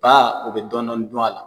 Ba o bɛ dɔɔnin dɔɔnin dun a la.